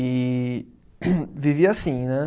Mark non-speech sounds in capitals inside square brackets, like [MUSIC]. E [COUGHS] vivia assim, né?